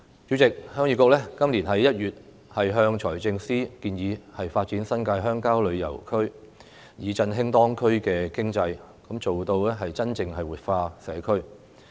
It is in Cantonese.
主席，鄉議局在今年1月向財政司司長建議，發展新界鄉郊旅遊區，以振興當區的經濟，做到真正活化社區。